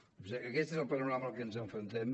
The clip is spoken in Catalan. doncs aquest és el panorama amb el que ens enfrontem